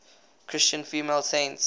christian female saints